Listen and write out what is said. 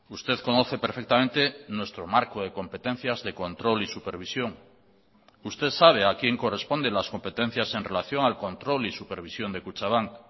usted conoce perfectamente nuestro marco de competencias de control y supervisión usted sabe a quién corresponden las competencias en relación al control y supervisión de kutxabank